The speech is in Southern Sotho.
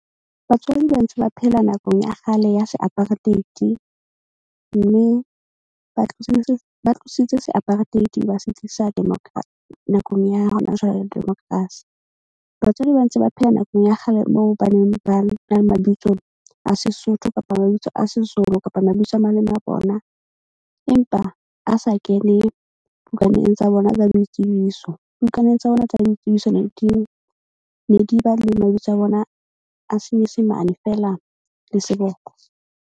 Batswadi ba ntse ba phela nakong ya kgale ya se apartheid mme ba ba tlositse se apartheid ba se tlisa nakong ya hona jwale democracy. Batswadi ba ntse ba phela nakong ya kgale moo ba neng ba na le mabitso a Sesotho kapa mabitso a Sezulu, kapa mabitso a maleme a bona. Empa a sa kene bukaneng tsa bona tsa boitsebiso. Bukaneng tsa bona tsa boitsebiso ne di ba le mabitso a bona a senyesemane fela le seboko.